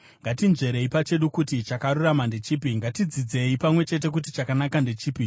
Ngatinzverei pachedu kuti chakarurama ndechipi; ngatidzidzei pamwe chete kuti chakanaka ndechipi.